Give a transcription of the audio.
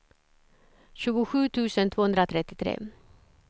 tjugosju tusen tvåhundratrettiotre